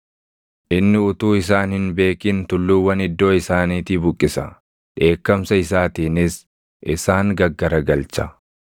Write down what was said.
Inni utuu isaan hin beekin tulluuwwan iddoo isaaniitii buqqisa; dheekkamsa isaatiinis isaan gaggaragalcha.